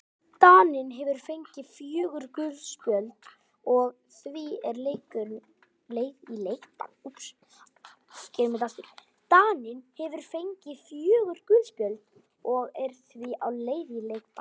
Daninn hefur fengið fjögur gul spjöld og er því á leið í leikbann.